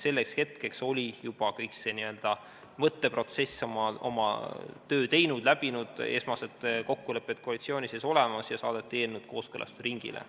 Selleks hetkeks oli juba see mõtteprotsess oma töö teinud, esmased kokkulepped koalitsiooni sees olid olemas ja eelnõud saadeti kooskõlastusringile.